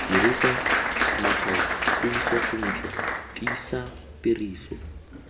dirisa matshwaopuiso sentle tiisa tiriso